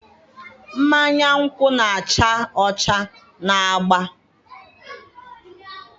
mmanya nkwụ na-acha ọcha na agba